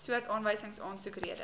soort aanwysingsaansoek rede